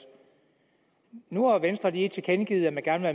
nu har venstre lige tilkendegivet at man gerne